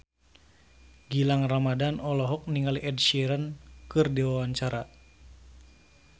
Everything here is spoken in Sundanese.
Gilang Ramadan olohok ningali Ed Sheeran keur diwawancara